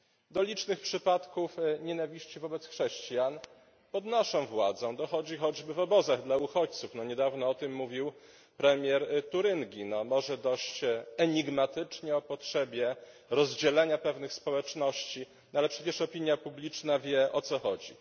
Do licznych przypadków nienawiści wobec chrześcijan pod naszą władzą dochodzi choćby w obozach dla uchodźców, niedawno mówił o tym premier Turyngii, może dość enigmatycznie, o potrzebie rozdzielania pewnych społeczności, ale przecież opinia publiczna wie, o co chodzi.